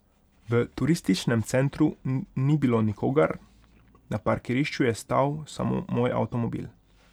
V Turističnem centru ni bilo nikogar, na parkirišču je stal samo moj avtomobil.